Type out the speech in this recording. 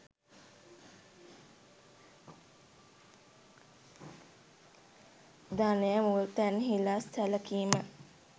ධනය මුල් තැන්හිලා සැලකීම